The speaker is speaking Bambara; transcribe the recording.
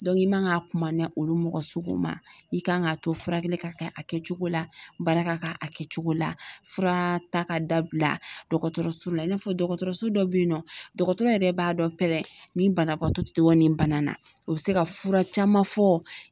i man ka kuma ni olu mɔgɔ suguw ma, i kan k'a to furakɛli ka kɛ a kɛcogo la baara ka kɛ a kɛcogo la, fura ta ka dabila dɔkɔtɔrɔso la i n'a fɔ dɔkɔtɔrɔso dɔ be yen nɔ, dɔkɔtɔrɔ yɛrɛ b'a dɔn pɛrɛn ni banabagatɔ ti tɔ ni bana na, o bi se ka fura caman fɔ